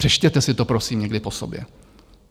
Přečtěte si to prosím někdy po sobě.